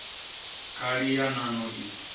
khali ya nan o i